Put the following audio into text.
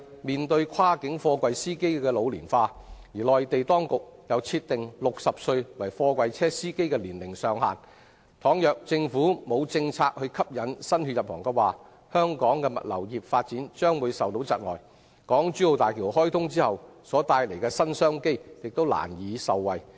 面對跨境貨櫃司機老齡化，加上內地當局設定60歲為貨櫃車司機的年齡上限，如政府沒有政策吸引新血入行的話，香港物流業的發展將會受窒礙，難以受惠於港珠澳大橋開通後帶來的新商機。